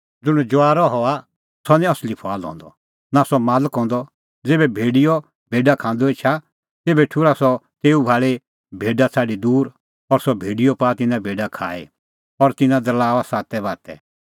ज़ुंण जुआरअ हआ सह निं असली फुआल हंदअ नां सह मालक हंदअ ज़ेभै भेड़िय भेडा खांदअ एछा तेभै ठुर्हा सह तेऊ भाल़ी भेडा छ़ाडी दूर और सह भेड़िय पाआ तिन्नां भेडा खाई और तिन्नां दरल़ाऊआ सातै बातै